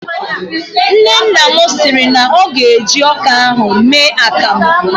Nnenna siri na ọ ga-eji ọka ahụ mee akamụ